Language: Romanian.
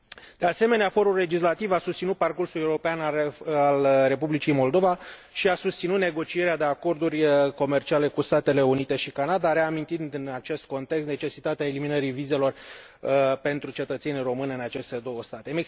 De asemenea, forul legislativ a susținut parcursul european al Republicii Moldova și a susținut negocierea de acorduri comerciale cu Statele Unite și Canada, reamintind în acest context necesitatea eliminării vizelor pentru cetățenii români în aceste două state.